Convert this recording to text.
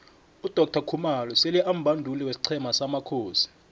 udoctor khumalo sele ambanduli wesiqhema samakhosi